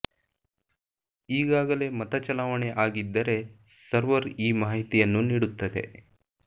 ಈಗಾಗಲೇ ಮತ ಚಲಾವಣೆ ಆಗಿದ್ದರೆ ಸರ್ವರ್ ಈ ಮಾಹಿತಿಯನ್ನು ನೀಡುತ್ತದೆ